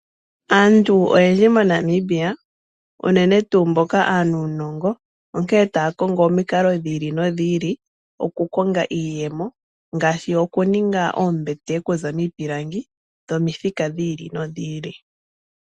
Aantu oyendji moNamibia unene tuu aanuunongo onkee taya kongo omikalo dhiili nodhiili, oku konga iiyemo ngaashi oku ninga oombete oku za miipilangi dhomithika dhiili nodhiili.